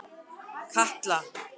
Katla